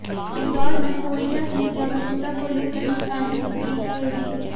इंदौर में पोलिया की जागरुकता को लेकर निकाली गई रैली